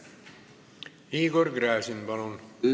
Igor Gräzin, palun!